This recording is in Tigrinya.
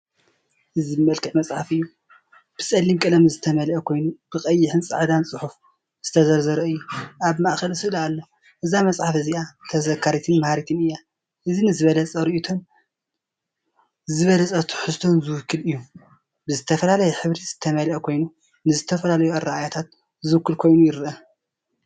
እዚ ብመልክዕ መጽሓፍ እዩ። ብጸሊም ቀለም ዝተመልአ ኮይኑ ብቀይሕን ጻዕዳን ጽሑፍ ዝተዘርዘረ እዩ። ኣብ ማእከል ስእሊ ኣሎ፡እዛ መጽሓፍ እዚኣ ተዘካሪትን መሃሪትን እያ። እዚ ንዝበለጸ ርእይቶን ዝበለጸ ትሕዝቶን ዝውክል እዩ። ብዝተፈላለየ ሕብሪ ዝተመልአ ኮይኑ ንዝተፈላለዩ ኣረኣእያታት ዝውክል ኮይኑ ይረአ።